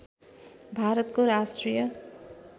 भारतको राष्ट्रिय